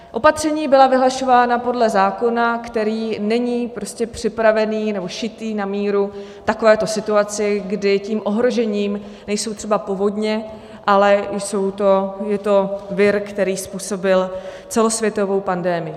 Opatření byla vyhlašována podle zákona, který není připravený nebo šitý na míru takovéto situaci, kdy tím ohrožením nejsou třeba povodně, ale je to vir, který způsobil celosvětovou pandemii.